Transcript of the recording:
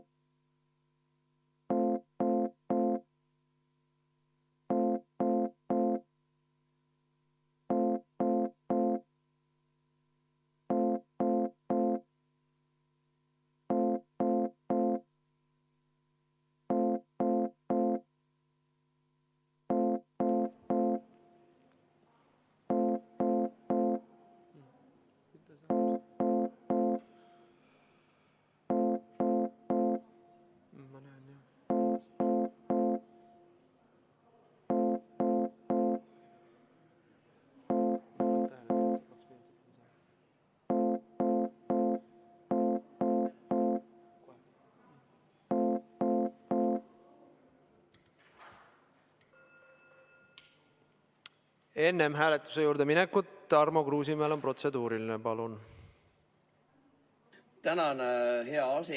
Tänan, hea aseesimees!